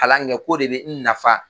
Kalan kɛ k'o de bɛ n nafa.